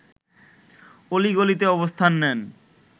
অলি-গলিতে অবস্থান নেন